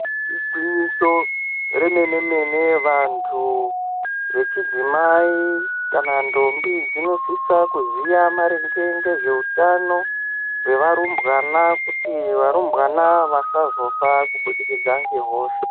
Igwinyiso remene mene vantu vechidzimai kana ntombi dzinosisa kuziya maringe ngezveutano hwevarumbwana kuti varumbwana vasazofa kubudikidza ngehosha.